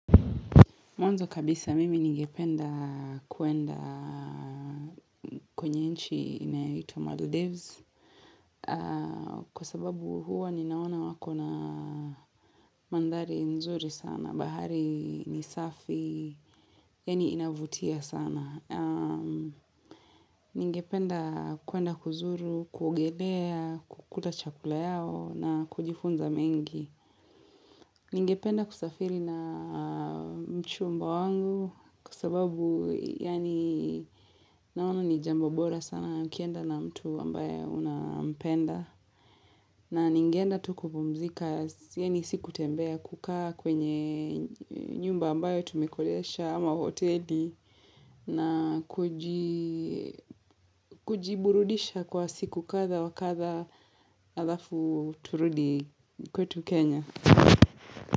Mwanzo kabisa mimi ningependa kuenda kwenye nchi inayoitwa Maldives. Kwa sababu huwa ninaona wako na mandhari nzuri sana. Bahari ni safi, yaani inavutia sana. Ningependa kuenda kuzuru, kuogelea, kukula chakula yao na kujifunza mengi. Ningependa kusafiri na mchumba wangu kwasababu yaani naona ni jambo bora sana na nikienda na mtu ambaye unapenda. Na ningeenda tu kupumzika yaani si kutembea kukaa kwenye nyumba ambayo tumekodesha ama hoteli na kuji kujiburudisha kwa siku kadha wa kadha alafu turudi kwetu Kenya.